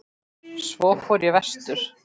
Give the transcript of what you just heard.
Svo fór ég vestur.